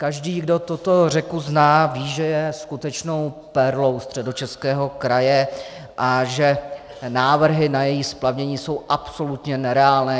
Každý, kdo tuto řeku zná, ví, že je skutečnou perlou Středočeského kraje a že návrhy na její splavnění jsou absolutně nereálné.